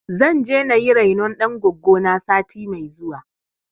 Zan je na yi rainon ɗan goggo na sati mai zuwa.